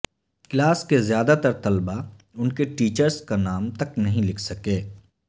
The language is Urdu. کلاس کے زیادہ تر طلبہ ان کے ٹیچرس کا نام تک نہیں لکھ سکے